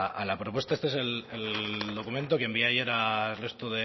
a la propuesta este es el documento que envié ayer al resto